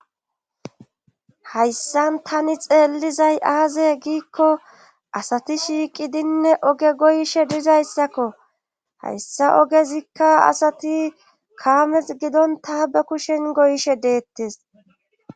Hayssan tani xeellizay aaze giikko asati shiiqidinne oge goyishe dizayssakko hayssa ogezikka asati kaames gidonta be kushen goyishe deettes